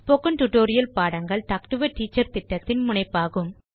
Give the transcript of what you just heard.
spoken tutorial பாடங்கள் talk to a teacher திட்டத்தின் முனைப்பாகும்